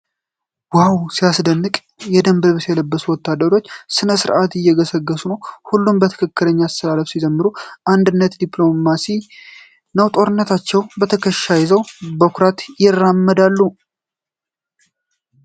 ዋው ሲያስደንቅ! የደንብ ልብስ የለበሱ ወታደሮች በሥነ ሥርዓት እየገሰገሱ ነው። ሁሉም በትክክለኛው አሰላለፍ ሲዘምሩ፣ አንድነትና ዲሲፕሊን ነው። ጦራቸውን በትከሻቸው ይዘው በኩራት ይራመዳሉ።